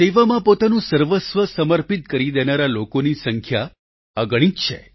સેવામાં પોતાનું સર્વસ્વ સમર્પિત કરી દેનારા લોકોની સંખ્યા અગણિત છે